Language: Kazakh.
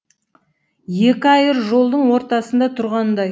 екі айыр жолдың ортасында тұрғандай